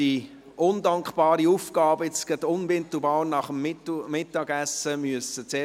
Ich danke all jenen, die pünktlich zurück im Ratssaal erschienen sind.